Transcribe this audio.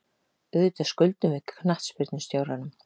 Auðvitað skuldum við knattspyrnustjóranum.